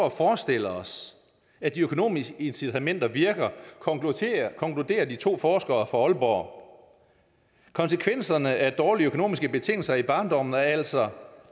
at forestille os at de økonomiske incitamenter virker konkluderer de to forskere fra aalborg konsekvenserne af dårlige økonomiske betingelser i barndommen er altså